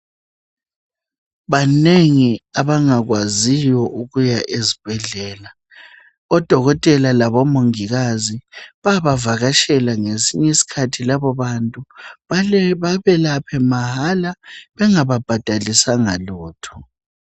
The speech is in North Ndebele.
Banengi abangakwaziyo ukuya ezibhendlela odokotela labomongikazi bayabavakatshela ngesinye isikhathi labo bantu babelaphe mahala bengababhadalisanga lutho